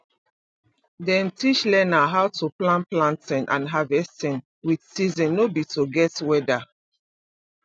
dem teach learner how to plan planting and harvesting with season no be to guess weather